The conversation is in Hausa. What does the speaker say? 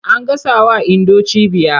An gasawa Indo cibiya.